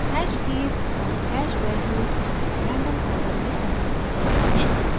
hash keys और hash values random यदृच्छित order में संचित की जाती हैं